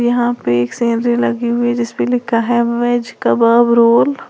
यहां पे एक सेनरी लगी हुई जिसपे लिखा है वेज कबाब रोल ।